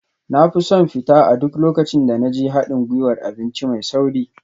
Na fi son fita a duk lokacin da na je haɗin gwiwar abinci mai sauri